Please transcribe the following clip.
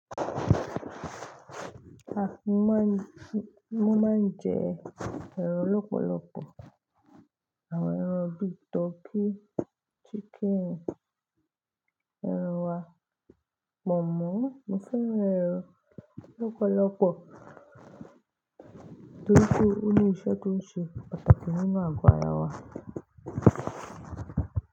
Ah! Mo máa ń, mo máa ń jẹ ẹran lọ́pọ̀lọpọ̀, àwọn ẹran bíi turkey, chicken, ẹran wa, pọ̀nmọ́. Mo fẹ́ran e o, lọ́pọ̀lọpọ̀ torí pé ó ní iṣẹ́ tó ń ṣe pàtàkì nínú àgọ́ ara wa.